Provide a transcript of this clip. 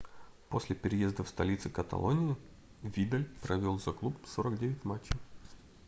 после переезда в столицу каталонии видаль провел за клуб 49 матчей